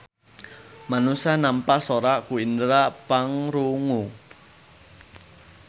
Manusa nampa sora ku indera pangrungu.